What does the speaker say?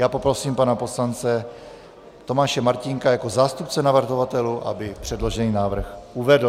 Já poprosím pana poslance Tomáše Martínka jako zástupce navrhovatelů, aby předložený návrh uvedl.